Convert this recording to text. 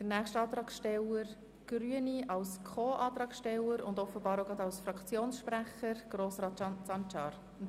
Für die nächste Antragstellerin, die grüne Fraktion, spricht als Co-Antragsteller und offenbar zugleich als Fraktionssprecher Grossrat Sancar.